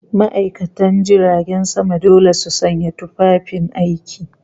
ma'aikatan jiragen sama dole su sanya tufafin aiki, yunifom